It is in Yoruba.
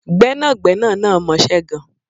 Gbẹ́nàgbẹ́nà náà mọṣe gan